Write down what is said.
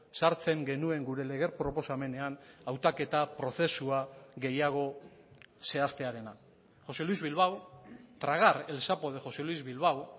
sartzen genuen gure lege proposamenean hautaketa prozesua gehiago zehaztearena josé luis bilbao tragar el sapo de josé luis bilbao